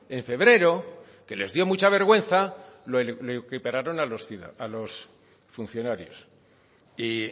en febrero que les dio mucha vergüenza lo equipararon a los funcionarios y